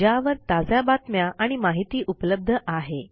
ज्यावर ताज्या बातम्या आणि माहिती उपलब्ध आहे